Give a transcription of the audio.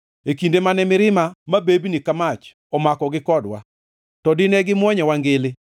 e kinde mane mirima mabebni ka mach omakogi kodwa, to dine gimwonyowa ngili;